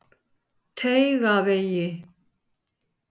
Teigavegi